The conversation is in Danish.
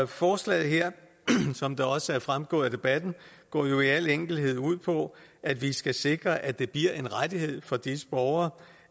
forslaget her som det også er fremgået af debatten går jo i al enkelhed ud på at vi skal sikre at det bliver en rettighed for disse borgere